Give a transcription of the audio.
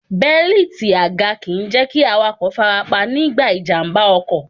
Bẹ́líìti àga kìí jẹ́ kí awakọ̀ farapa nígbà ìjàmbá ọkọ̀.